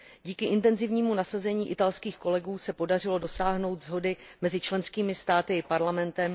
Díky intenzivnímu nasazení italských kolegů se podařilo dosáhnout shody mezi členskými státy i Parlamentem.